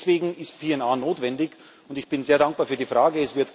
Deswegen ist PNR notwendig, und ich bin sehr dankbar für die Frage.